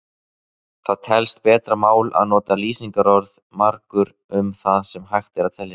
Það telst betra mál að nota lýsingarorðið margur um það sem hægt er að telja.